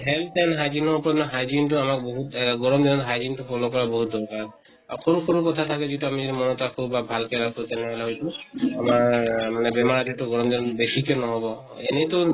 health and hygiene ওপৰত hygiene তো আমাৰ বহুত আ গৰম দিনত hygiene তো follow কৰা বহুত দৰকাৰ । সৰু কথা যিটো আমি মনত ৰাখো বা ভাল কে ৰাখো তেনেহʼলে হয়্তো আমাৰ মানে বেমাৰ যিটো গৰম দিনত বেছি ন্হʼব । এনেই তো